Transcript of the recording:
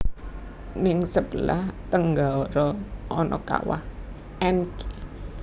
Ning sebelah tenggara ana kawah Encke